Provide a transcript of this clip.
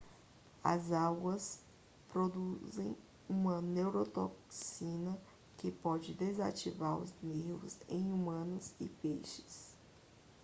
as algas produzem uma neurotoxina que pode desativar os nervos em humanos e peixes